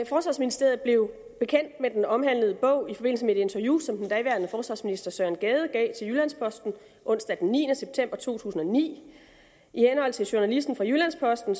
forsvarsministeriet blev bekendt med den omhandlede bog i forbindelse med et interview som den daværende forsvarsminister søren gade gav til jyllands posten onsdag den niende september to tusind og ni i henhold til journalisten fra jyllands posten